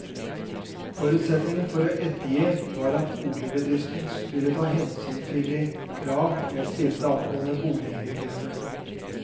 Forutsetningen for å ettergi var at boligbedriften ville ta hensyn til de krav jeg stilte angående bolighygiene.